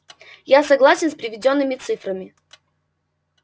я согласен с приведёнными цифрами